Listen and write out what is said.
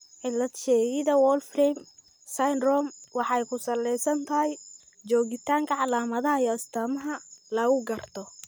Cilad-sheegidda Wolfram syndrome waxay ku salaysan tahay joogitaanka calaamadaha iyo astaamaha lagu garto.